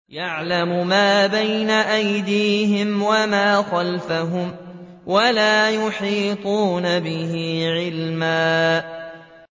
يَعْلَمُ مَا بَيْنَ أَيْدِيهِمْ وَمَا خَلْفَهُمْ وَلَا يُحِيطُونَ بِهِ عِلْمًا